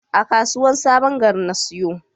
A kasuwar sabon gari na siyo.